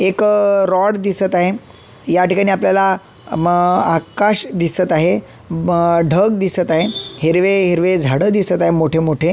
एक अ रॉड दिसत आहे याठिकाणी आपल्याला म्म आकाश दिसत आहे म्म ढग दिसत आहे हिरवे हिरवे झाड दिसत आहे मोठे मोठे.